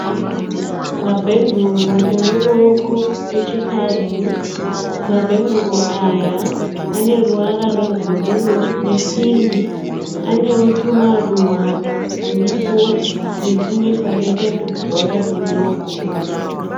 Mabhenguru emuruoko echikadzi. Mabhenguru aya ane ruvara rwebhuruu nepingi anewo tumaruva turipo netumwe twakaita tubhora tudoko.